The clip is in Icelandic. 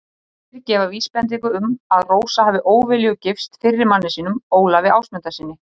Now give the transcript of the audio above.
Heimildir gefa vísbendingu um að Rósa hafi óviljug gifst fyrri manni sínum, Ólafi Ásmundssyni.